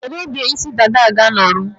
Kedu oge isi dada a ga-anọrụ?